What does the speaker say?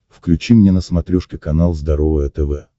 включи мне на смотрешке канал здоровое тв